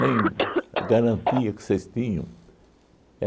Nem a garantia que vocês tinham.